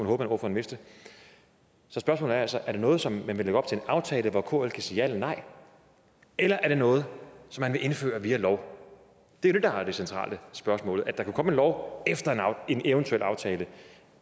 håbe på at han vidste så spørgsmålet er altså er det noget som man vil lægge op som en aftale hvor kl kan sige ja eller nej eller er det noget som man vil indføre via en lov det er jo det der er det centrale spørgsmål at der kan komme en lov efter en eventuel aftale